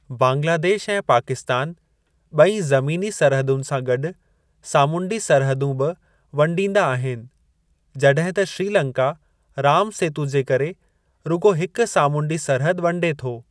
बांग्लादेश ऐं पाकिस्तान ॿई ज़मीनी सरहदुनि सां गॾु सामूंडी सरहदूं बि वंडींदा आहिनि, जॾहिं त श्रीलंका राम सेतु जे करे रुॻो हिक सामूंडी सरहद वंडे थो।